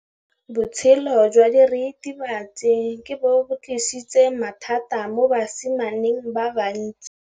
Botshelo jwa diritibatsi ke bo tlisitse mathata mo basimaneng ba bantsi.